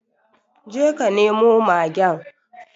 Je ka nemo magen